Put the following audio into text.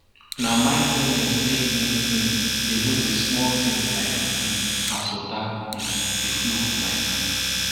na mindfulness make me um dey notice small things like um as water um dey flow for my hand